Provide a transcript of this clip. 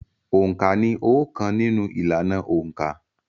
Òǹkà ni óókan nínú ìlànà òǹkà.